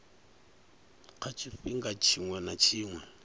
kha tshifhinga tshiṅwe na tshiṅwe